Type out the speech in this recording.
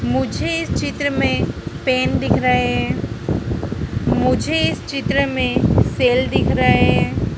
मुझे इस चित्र में पेन दिख रहे हैं मुझे इस चित्र में सेल दिख रहे हैं।